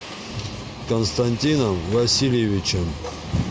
константином васильевичем